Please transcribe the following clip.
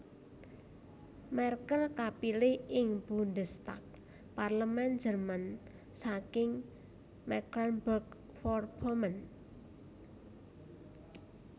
Merkel kapilih ing Bundestag Parlemén Jerman saking Mecklenburg Vorpommern